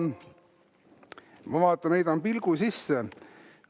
Ma vaatan, heidan pilgu sisse.